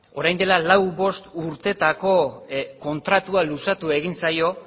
orain dela lau edo bost urtetako kontratua luzatu egin zaio